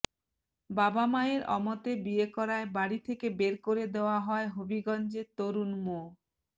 বাবা মায়ের অমতে বিয়ে করায় বাড়ি থেকে বের করে দেওয়া হয় হবিগঞ্জের তরুণ মো